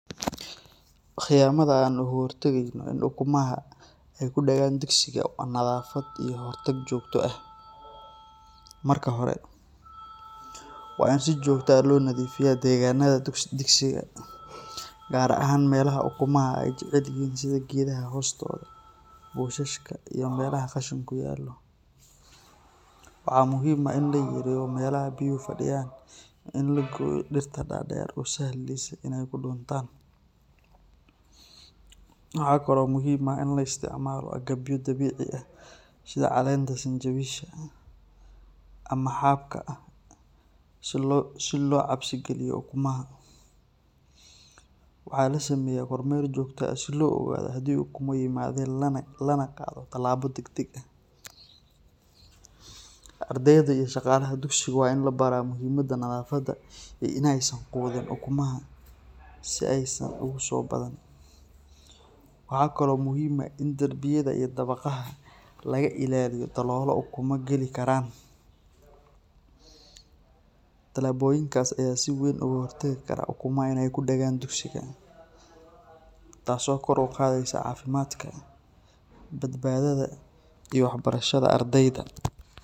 Qiyamadha an laga hortageynin ukumaha ee kudigan dugsiga ama nadhafaada eh, marka hore waa in si jogto eh lonadhifiya dagenadha dugsiyadha gar ahan melaha ukumaha ee jecelyihin sitha geedaha hostodha bushashka iyo meelaha qashinka u yalo, waxaa muhiim ah in laga gudhiyo melaha biya fadan, waxaa kalo muhiim ah in laisticmalo agabya dabici ah sitha calenta sanjawisha ama xabka si lo cabsi galiyo ukumaha, waxaa lasameya meel jogto ah si lo ogadho lana qadho tilabo dagdag ah, ardeyda iyo shaqalaaha waa in labaraa muhiimada nadhafaada iyo in ee ukumahan si ee san kugu sobadanin, waxaa kalo muhiim ah in darbiyada iyo dawaqyaada laga ilaliyo dalog ukuma gali karan, tilaboyinkas aya kahor tagi karaa ukumahas in ee kudagan dugsiga tas oo kor u qadheysa cafimaadka badbadhaada iyo wax barashaada ardeyda.